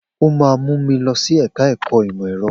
O máa mú mi lọ sí ẹ̀ka ẹ̀kọ́ ìmọ̀ ẹ̀rọ.